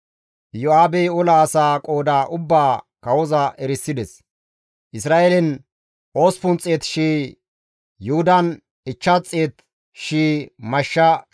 Iyo7aabey ola asaa qooda ubbaa kawoza erisides; Isra7eelen 800,000 Yuhudan 500,000 mashsha shoddi olettana dandayzati beettida.